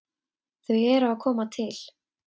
Þau eru að koma til.